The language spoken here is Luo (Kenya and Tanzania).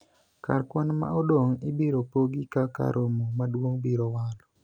kar kwan ma odong' ibiro pogi kaka romo maduong' biro walo